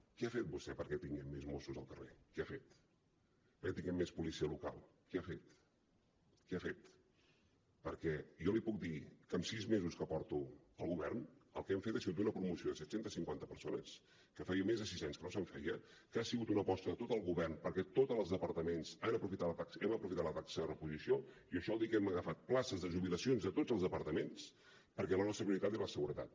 què ha fet vostè perquè tinguem més mossos al carrer què ha fet perquè tinguem més policia local què ha fet què ha fet perquè jo li puc dir que amb sis mesos que porto al govern el que hem fet ha sigut una promoció de set cents i cinquanta persones que feia més de sis anys que no se’n feia que ha sigut una aposta de tot el govern perquè de tots els departaments hem aprofitat la taxa de reposició i això vol dir que hem agafat places de jubilacions de tots els departaments perquè la nostra prioritat era la seguretat